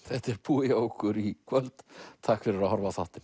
þetta er búið hjá okkur í kvöld takk fyrir að horfa á þáttinn